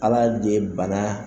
Ala de ye bana